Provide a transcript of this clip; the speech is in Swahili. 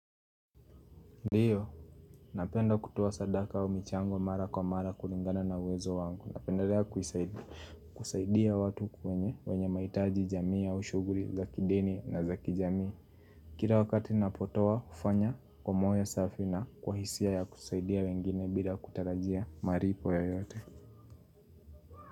Ndiyo, napenda kutoa sadaka wa michango mara kwa mara kuringana na uwezo wangu. Napendelea kusaidia watu kwenye, wenye maitaji jamii ya ushughuli, za kidini na zaki jamii. Kila wakati ninapotoa ufanya kwa moyo safi na kwa hisia ya kusaidia wengine bila kutarajia malipo yoyote.